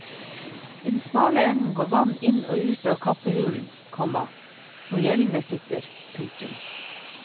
I den smale enden går vann inn og ut til kappehulen, komma hvor gjellene sitter. punktum